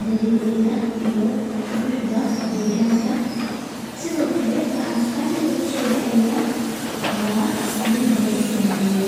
galiyo, iyo Salida laga sameeyo.